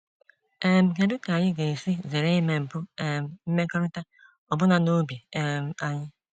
um Kedu ka anyị ga-esi zere ime mpụ um mmekọrịta ọbụna n’obi um anyị?